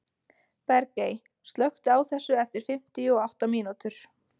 Bergey, slökktu á þessu eftir fimmtíu og átta mínútur.